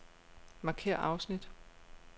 Markér afsnit.